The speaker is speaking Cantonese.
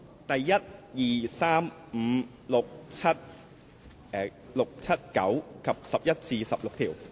第1、2、3、5、6、7、9及11至16條。